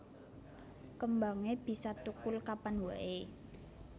Kembangé bisa thukul kapan waé